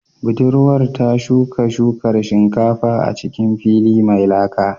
Budurwar ta shuka shukar shinkafa a cikin fili mai laka